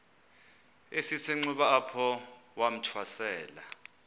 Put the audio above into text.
esisenxuba apho wathwasela